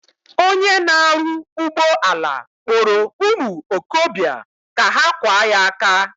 Onye na aru ugboala kporo umuokobia ka ha kwa ya aka.